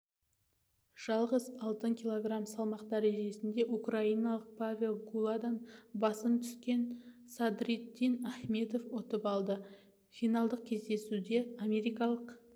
жалғыз алтынды кг салмақ дәрежесінде украиналық павел гуладан басым түскенсадриддин ахмедов ұтып алды финалдық кездесуде америкалық